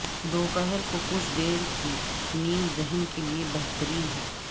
دوپہر کو کچھ دیر کی نیند ذہن کے لیے بہترین